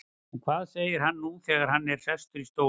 En hvað segir hann nú þegar hann er sestur í stólinn?